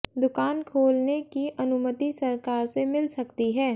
दुकान खोलने की अनुमति सरकार से मिल सकती है